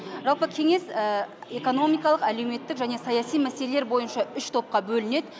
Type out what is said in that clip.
жалпы кеңес экономикалық әлеуметтік және саяси мәселелер бойынша үш топқа бөлінеді